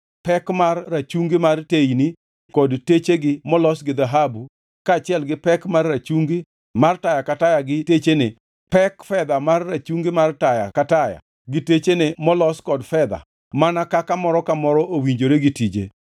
pek mar rachungi mag teyni kod techegi molos gi dhahabu, kaachiel gi pek mar rachungi mar taya ka taya gi techene, pek fedha mar rachungi mar taya ka taya gi techene molos kod fedha mana kaka moro ka moro owinjore gi tije;